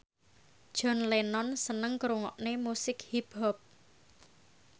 John Lennon seneng ngrungokne musik hip hop